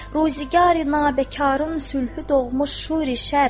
Ruzigari nabəkarın sülhü doğmuş şuri şər.